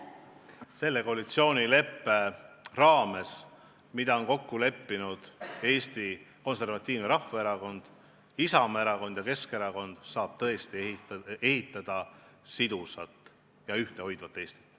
Selle koalitsioonileppe raames, mille on kokku leppinud Eesti Konservatiivne Rahvaerakond, Isamaa erakond ja Keskerakond, saab tõesti ehitada sidusat ja ühtehoidvat Eestit.